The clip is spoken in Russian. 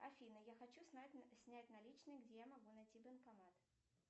афина я хочу снять наличные где я могу найти банкомат